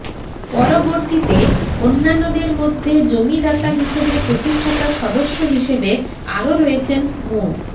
পরবর্তীতে অন্যান্যদের মধ্যে জমিদাতা হিসেবে প্রতিষ্ঠাতা সদস্য হিসেবে আরো রয়েছেন মো